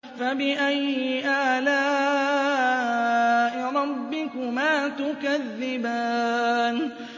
فَبِأَيِّ آلَاءِ رَبِّكُمَا تُكَذِّبَانِ